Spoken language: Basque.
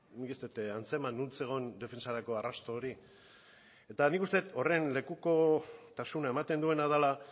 nik ez dut antzeman non zegoen defentsarako arrasto hori eta nik uste dut horren lekukotasuna ematen duela da